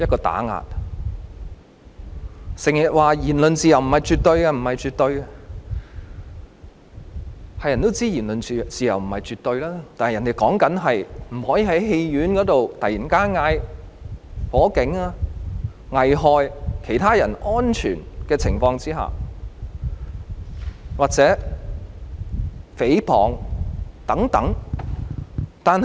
有人整天說言論自由不是絕對，誰都知道言論自由不是絕對，但指的是不能在戲院內突然叫喊走火警，作出危害其他人安全或誹謗等行為。